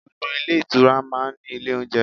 Gbogbo ilé ìtura máa ń ní ilé oúnjẹ.